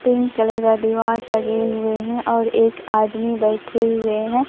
Pink colour का दीवार लगे हुए हैं और एक आदमी बैठे हुए हैं।